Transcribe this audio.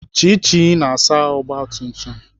Chichi na-asa ogbatumtum